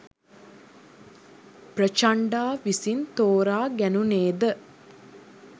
ප්‍රචණ්ඩා විසින් තෝරා ගැනුණේ ද